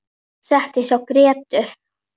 Settist hjá Grétu.